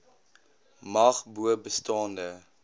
mag bo bestaande